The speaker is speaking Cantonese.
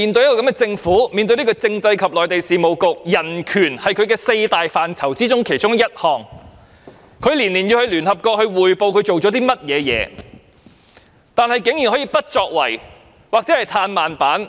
人權是政制及內地事務局四大職責範疇之一，局長每年要向聯合國匯報工作進度，但當局竟然可以不作為、"嘆慢板"。